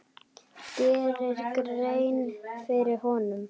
geri grein fyrir honum?